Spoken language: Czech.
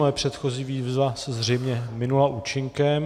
Moje předchozí výzva se zřejmě minula účinkem...